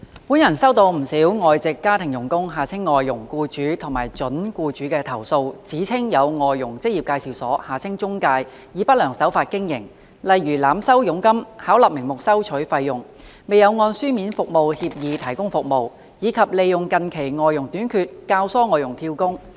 本人收到不少外籍家庭傭工僱主及準僱主的投訴，指稱有外傭職業介紹所以不良手法經營，例如濫收佣金、巧立名目收取費用、未有按書面服務協議提供服務，以及利用近期外傭短缺教唆外傭"跳工"。